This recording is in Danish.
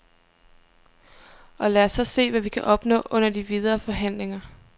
Og lad os så se, hvad vi kan opnå under de videre forhandlinger.